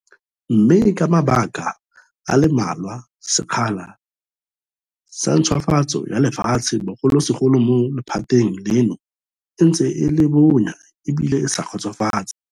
Mme ka mabaka a le mmalwa, sekgala sa ntšhwafatso ya lefatshe bogolosegolo mo lephateng leno e ntse e le bonya ebile e sa kgotsofatse.